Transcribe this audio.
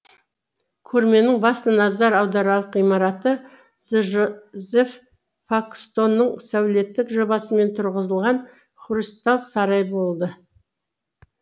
көрменің басты назар аударарлық ғимараты джозеф пакстонның сәулеттік жобасымен тұрғызылған хрусталь сарайы болды